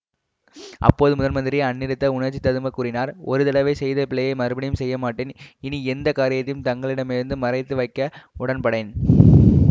அப்போது முதன்மந்திரி அநிருத்தர் உணர்ச்சி ததும்பக் கூறினார் ஒரு தடவை செய்த பிழையை மறுபடியும் செய்ய மாட்டேன் இனி எந்த காரியத்தையும் தங்களிடமிருந்து மறைத்து வைக்கவும் உடன்படேன்